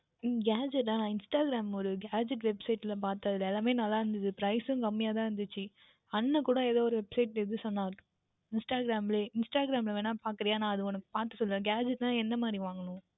உம் Gadget டா Instagram யில் ஓர் Gadget Website யில் பார்த்தேன் அதில் எல்லாமுமே நன்றாக இருந்தது Price உம் குறைவாக தான் இருந்தது அண்ணன் கூட ஏதோ ஓர் Website எது சொன்னான் Instagram லேயே Instagram யில் வேண்டுமென்றால் பார்க்கிறாயா நான் உனக்கு பார்த்து சொல்லுகின்றேன் Gadget என்றால் எந்த மாதிரி வாங்கவேண்டும்